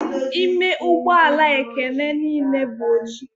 Ime ụgbọ ala Ekene niile bụ oji.